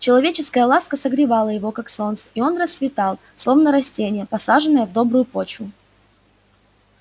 человеческая ласка согревала его как солнце и он расцветал словно растение посаженное в добрую почву